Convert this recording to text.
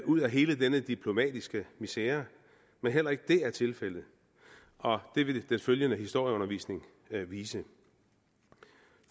ud af hele denne diplomatiske misere men heller ikke det er tilfældet og det vil den følgende historieundervisning vise